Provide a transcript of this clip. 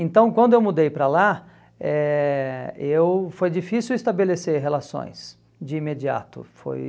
Então, quando eu mudei para lá, eh eu foi difícil estabelecer relações de imediato, foi